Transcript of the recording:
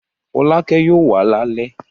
Fọlákẹ́ yóò wá lálẹ́?